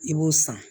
I b'o san